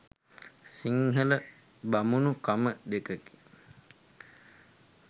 සිංහල බමුණු කම දෙකකි